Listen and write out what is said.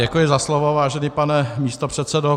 Děkuji za slovo, vážený pane místopředsedo.